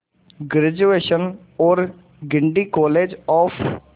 graduation और Guindy college of